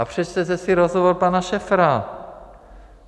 A přečtěte si rozhovor pana Šefra.